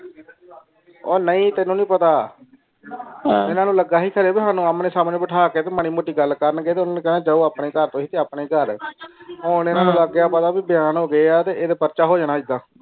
ਉਹ ਨਾਈ ਤੈਨੂੰ ਪਤਾ ਐਨਾ ਨੂੰ ਲਗਾ ਸੀ ਫੇਰੇ ਸਾਨੂ ਅੰਨ੍ਹੇ ਸਾਮਣੇ ਬਿਠਾ ਕੇ ਕੋਈ ਮਾਰੀ ਮੋਤੀ ਗੱਲ ਕਰਨ ਦੇ ਤੇ ਓਨਾ ਕੈਨਾ ਜਾਓ ਤੁਸੀਂ ਆਪਣੇ ਘਰ ਤੇ ਅਸੀਂ ਆਪਣੇ ਘਰ ਹੁਣ ਐਨਾ ਲੱਗ ਗਿਆ ਪਤਾ ਵੀ ਬਿਆਨ ਹੋ ਗਿਆ ਇਹ ਤੇ ਪਰਚਾ ਹੋ ਜਾਣਾ ਐਡਾ